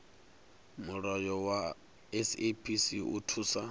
mulayo wa saps u thusa